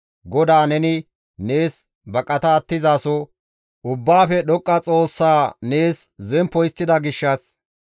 GODAA neni nees baqata attizaso, Ubbaafe Dhoqqa Xoossa nees zemppo histtida gishshas,